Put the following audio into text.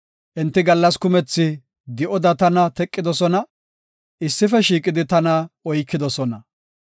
Enti gallas kumethi di7oda tana teqidosona; issife shiiqidi tana oykidosona.